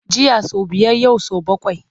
Jiya sau biyar yau sau bakwai.